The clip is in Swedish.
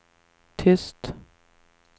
tyst